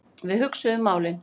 Við hugsuðum málin.